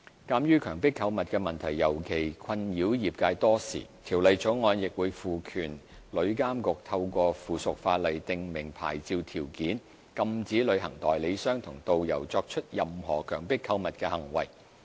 鑒於強迫購物的問題尤其困擾業界多時，《條例草案》亦會賦權旅監局透過附屬法例訂明牌照條件，禁止旅行代理商和導遊作出任何強迫購物的行為。